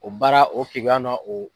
O baara o keguya na o